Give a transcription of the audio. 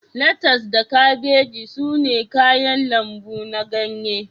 Letas da kabeji sune kayan lambu na ganye